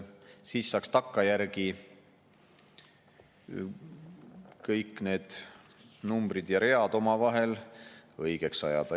Siis saab takkajärgi kõik need numbrid ja read omavahel õigeks ajada.